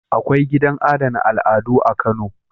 Akwai gidan adana al'adu a Kano.